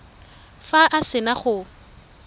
fa a se na go